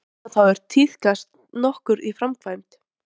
Slíkar undanþágur tíðkast nokkuð í framkvæmd.